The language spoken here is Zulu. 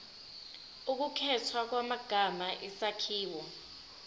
ukukhethwa kwamagama isakhiwo